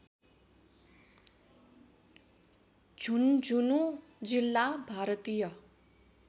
झुंझुनू जिल्ला भारतीय